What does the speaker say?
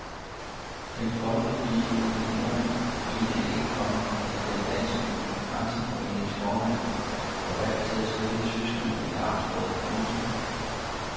Den folkelige opinion mente ikke, komma at den danske grænseforenings formand var valgt til at støtte tyskerne i amtsrådet. punktum